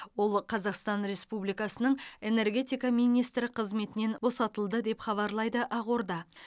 ол қазақстан республикасының энергетика министрі қызметінен босатылды деп хабарлайды ақорда